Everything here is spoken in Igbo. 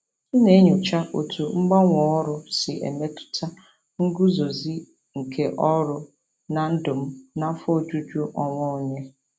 M na-enyocha otú mgbanwe ọrụ si emetụta nguzozi nke ọrụ na ndụ m na afọ ojuju onwe onye.